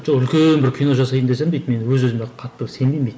жоқ үлкен бір кино жасайын десем дейді мен өз өзіме қатты сенбеймін дейді